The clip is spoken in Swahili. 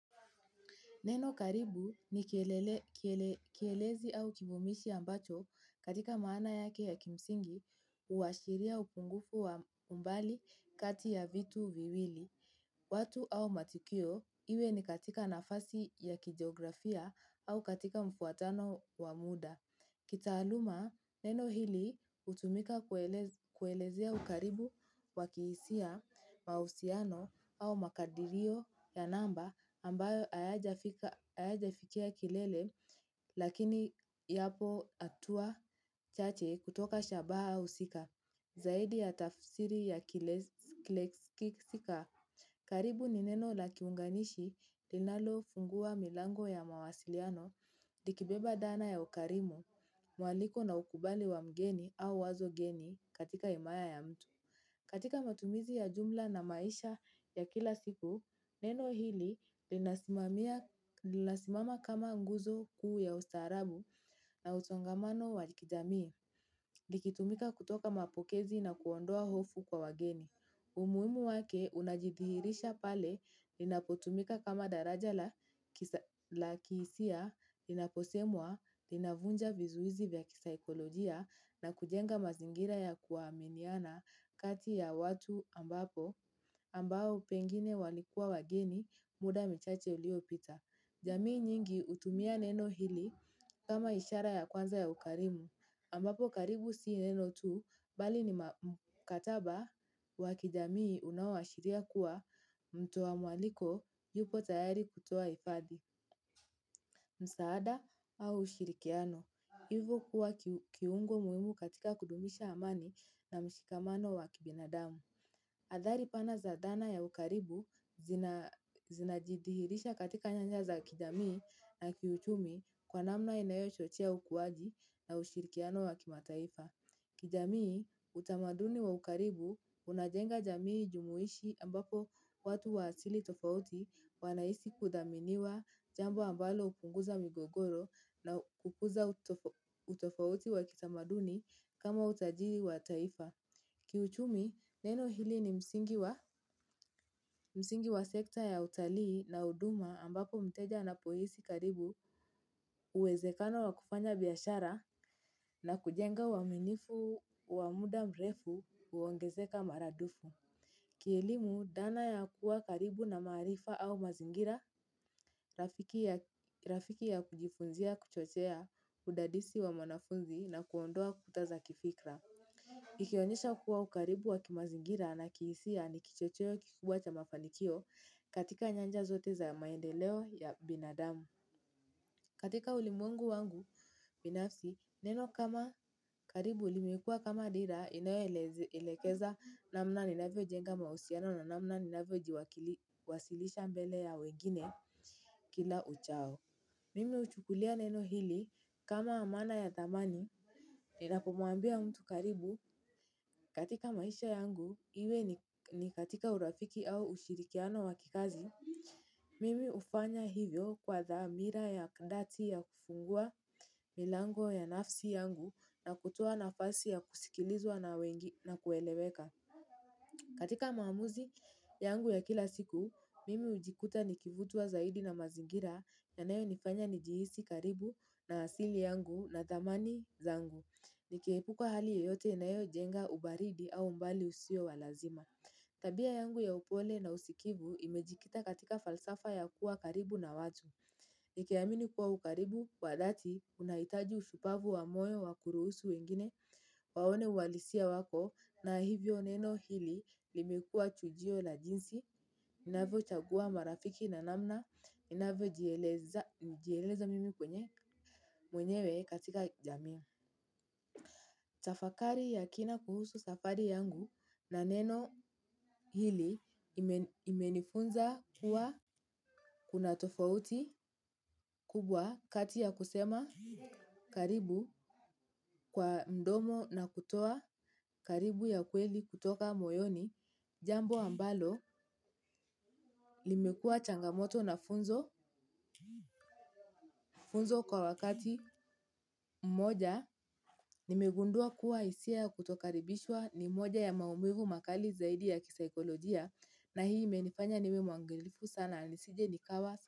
Neno karibu ni kielele kiele kielezi au kivumishi ambacho katika maana yake ya kimsingi huwashiria upungufu wa umbali kati ya vitu viwili. Watu au matukio iwe ni katika nafasi ya kijeografia au katika mfuatano wa muda. Kitaaluma neno hili hutumika kuelez kuelezea ukaribu wakihisia mahusiano au makadirio ya namba ambayo ayajafika ayajafikia kilele lakini yapo atua chache kutoka shabaha husika. Zaidi ya tafsiri ya kiles kileskiksika. Karibu ni neno la kiunganishi linalo fungua milango ya mawasiliano, likibeba dhana ya ukarimu, mwaliko na ukubali wa mgeni au wazo geni katika imaya ya mtu. Katika matumizi ya jumla na maisha ya kila siku, neno hili linasimamia linasimama kama nguzo kuu ya ustaarabu na utongamano wakijamii. Likitumika kutoka mapokezi na kuondoa hofu kwa wageni. Umuhimu wake unajidihirisha pale linapotumika kama daraja la kisa la kihisia, linaposemwa, linavunja vizuizi vya kisaikolojia na kujenga mazingira ya kuaminiana kati ya watu ambapo ambao pengine walikua wageni muda michache ulio pita. Jamii nyingi utumia neno hili kama ishara ya kwanza ya ukarimu, ambapo karibu si neno tu bali ni maa kataba wakijamii unaowashiria kuwa mto wa mwaliko yupo tayari kutoa ifadhi, msaada au ushirikiano. Hivo kuwa kiungo muhimu katika kudumisha amani na mshikamano wakibinadamu. Adhari pana za dhana ya ukaribu zinaa zinajidihirisha katika nyanja za kijamii na kiuchumi kwa namna inayo chochea ukuwaji na ushirikiano wa kima taifa. Kijamii, utamaduni wa ukaribu unajenga jamii jumuhishi ambapo watu wa asili tofauti wanahisi kudhaminiwa jambo ambalo hupunguza migogoro na kukuza utof utofauti wa kitamaduni kama utajiri wa taifa. Kiuchumi, neno hili ni msingi wa msingi wasekta ya utalii na huduma ambapo mteja anapoisi karibu uwezekano wa kufanya biyashara na kujenga uwaminifu wa muda mrefu uongezeka maradufu. Kielimu, dhana ya kuwa karibu na maarifa au mazingira, rafiki ya, rafiki ya kujifunzia kuchochea, udadisi wa mwanafunzi na kuondoa kutaza kifikra. Ikionyesha kuwa ukaribu wa kimazingira na kihisia ni kichocheo kikubwa cha mafanikio katika nyanja zote za maendeleo ya binadamu. Katika ulimwengu wangu binafsi, neno kama karibu limekua kama dira inayo elez elekeza namna ninavyo jenga mahusiano na namna ninavyo jiwakili wasilisha mbele ya wengine kila uchao. Mimi huchukulia neno hili kama amana ya dhamani. Ninapomwambia mtu karibu, katika maisha yangu, iwe ni katika urafiki au ushirikiano wakikazi, mimi hufanya hivyo kwa dhaa mira ya kndati ya kufungua milango ya nafsi yangu na kutoa nafasi ya kusikilizwa na wengi na kueleweka. Katika maamuzi yangu ya kila siku, mimi ujikuta nikivutwa zaidi na mazingira ya nayo nifanya nijihisi karibu na asili yangu na dhamani zangu. Ilikiepukwa hali yeyote inayojenga ubaridi au umbali usio walazima. Tabia yangu ya upole na usikivu imejikita katika falsafa ya kuwa karibu na watu. Nikiamini kuwa ukaribu wadhati unahitaji ushupavu wa moyo wa kuruhusu wengine, waone ualisia wako na hivyo neno hili limekua chujio la jinsi, inavyo chagua marafiki na namna, inavyo jielezaa jieleza mimi mwenye mwenyewe katika jamii. Tafakari ya kina kuhusu safari yangu na neno hili imen imenifunza kuwa kuna tofauti kubwa kati ya kusema karibu kwaa mdomo na kutoa karibu ya kweli kutoka moyoni. Jambo ambalo, limekua changamoto na funzo funzo kwa wakati mmoja. Nimegundua kuwa hisia ya kutokaribishwa nimoja ya maumivu makali zaidi ya kisaikolojia. Na hii menifanya niwe mwangelifu sana. Nisije nikawa.